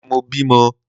Àná ni mo bímọ